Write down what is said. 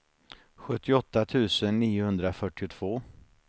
sjuttioåtta tusen niohundrafyrtiotvå